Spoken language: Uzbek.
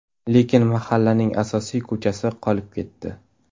Lekin mahallaning asosiy ko‘chasi qolib ketdi.